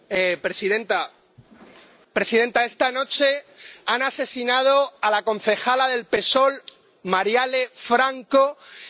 Señora presidenta, esta noche han asesinado a la concejala del PSOL Marielle Franco en Río de Janeiro.